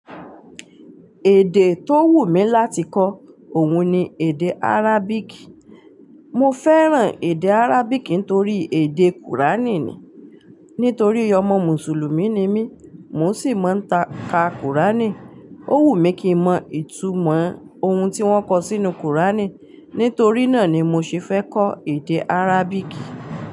Èdè tó wù mí láti kọ́, òun ni èdè Arabic. Mo fẹ́ràn èdè Arabic nítorí èdè kùránì ni. Nítorí ọmọ mùsùlùmí ni mí, mò sì máa ń ka kùránì. Ó wù mí kí n mọ ìtumọ̀ oun tí wọ́n kọ sínú kùránì. Nítorí náà ni mo ṣe fẹ́ kọ́ èdè Arabic.